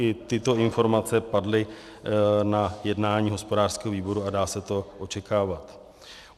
I tyto informace padly na jednání hospodářského výboru a dá se to očekávat.